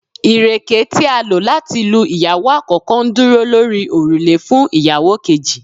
ireke ti a lo lati lu iyawo akoko, nduro lori orule fun iyawo keji